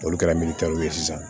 N'olu kɛra ye sisan